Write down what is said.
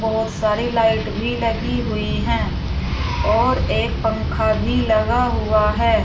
बहोत सारी लाइट भी लगी हुई है और एक पंखा भी लगा हुआ है।